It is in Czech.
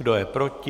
Kdo je proti?